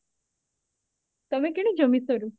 ତମେ କିଣିଛ meesho ରୁ?